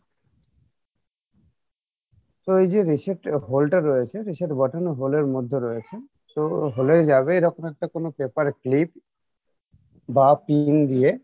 তো এইযে reset hole টা রয়েছে reset button এর hole এর মধ্যে রয়েছে so hole এর জায়গায় এরকম একটা কোনো paper clip বা PIN দিয়ে